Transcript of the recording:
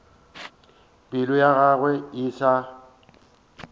pelo ya gagwe e sa